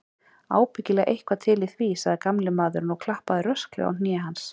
Ábyggilega eitthvað til í því, sagði gamli maðurinn og klappaði rösklega á hné hans.